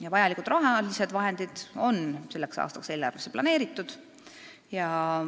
Ja vajalikud rahalised vahendid on selleks aastaks eelarvesse planeeritud.